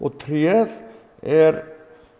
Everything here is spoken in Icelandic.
tréð er